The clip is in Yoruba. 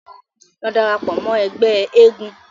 Lọ darapọ̀ mọ́ ẹgbẹ́ eégún.